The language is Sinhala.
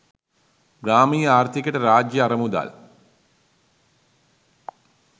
ග්‍රාමීය ආර්ථිකයට රාජ්‍ය අරමුදල්